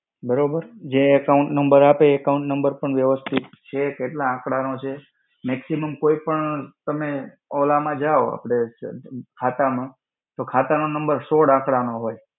બરોબર. જે account number આપે એ account number પણ વ્યવસ્થિત છે, કેટલા આંકડાનો છે, maximum કોઈ પણ તમે ઓલ માં જાઓ, આપણે શું, ખાતા માં, તો ખાતા નો number સોળ આંકડા નો હોય.